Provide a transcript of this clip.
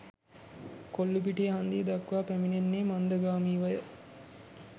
කොල්ලූපිටිය හන්දිය දක්වා පැමිණෙන්නේ මන්දගාමීවය.